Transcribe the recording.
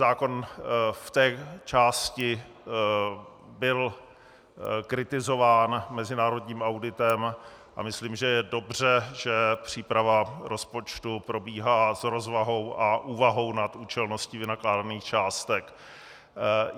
Zákon v té části byl kritizován mezinárodním auditem a myslím, že je dobře, že příprava rozpočtu probíhá s rozvahou a úvahou nad účelností vynakládaných částek.